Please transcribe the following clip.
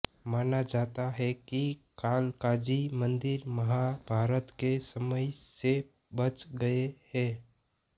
माना जाता है कि कालकाजी मंदिर महाभारत के समय से बच गए हैं